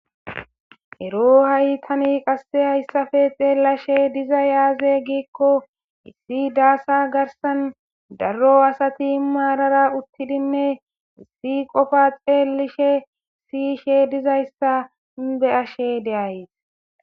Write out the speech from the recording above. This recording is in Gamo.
Ero ha'i tani qase haysa ppe xellashe dizaysi aze giko daro asay marara uttidine issi qopa xellishe siyishe dizaysa beyashe de'aysi